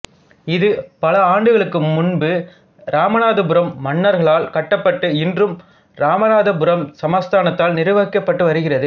இது பல ஆண்டுகளுக்கு முன்பு இராமநாதபுரம் மன்னர்களால் கட்டப்பட்டு இன்றும் இராமநாதபுரம் சமஸ்தானத்தால் நிர்வகிக்கப்பட்டு வருகிறது